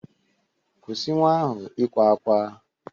Kwụsị nwa ahụ ịkwa ákwá.